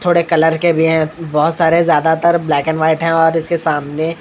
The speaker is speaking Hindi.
थोड़े कलर के भी है बहोत सारे ज्यादातर ब्लैक एंड व्हाइट है और इसके सामने--